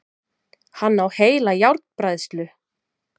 Hann á heila járnbræðslu!